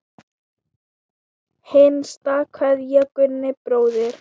HINSTA KVEÐJA Gunni bróðir.